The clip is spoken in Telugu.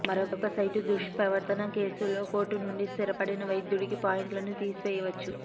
మరొక సైట్ దుష్ప్రవర్తన కేసులో కోర్టు నుండి స్థిరపడిన వైద్యుడికి పాయింట్లను తీసివేయవచ్చు